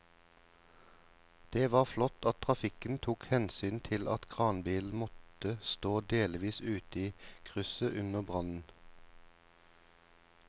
Det var flott at trafikken tok hensyn til at kranbilen måtte stå delvis ute i krysset under brannen.